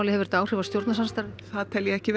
hefur þetta áhrif á samstarfið ég tal ekki